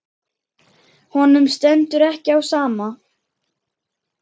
Honum stendur ekki á sama.